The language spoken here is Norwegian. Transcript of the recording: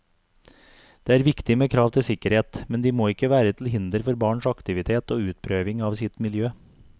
Det er viktig med krav til sikkerhet, men de må ikke være til hinder for barns aktivitet og utprøving av sitt miljø.